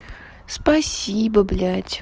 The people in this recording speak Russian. спасибо блядь